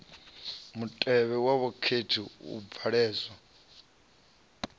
mutevhe wa vhakhethi u bvalelwa